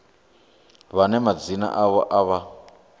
vhane madzina avho a vha